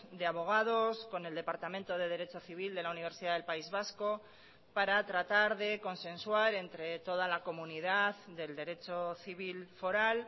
de abogados con el departamento de derecho civil de la universidad del país vasco para tratar de consensuar entre toda la comunidad del derecho civil foral